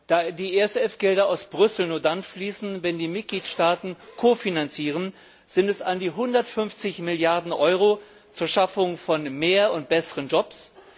Da die ESF Gelder aus Brüssel nur dann fließen, wenn die Mitgliedstaaten kofinanzieren, sind es an die 150 Milliarden Euro zur Schaffung von mehr und besseren Jobs.